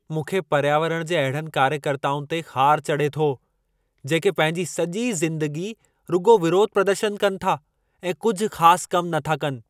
मूंखे पर्यावरण जे अहिड़नि कार्यकर्ताउनि ते ख़ार चढ़े थो, जेके पंहिंजी सॼी ज़िंदगी रुॻो विरोध प्रदर्शन कनि था ऐं कुझु ख़ास कम नथा कनि।